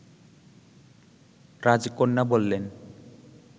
রাজকন্যা বললেন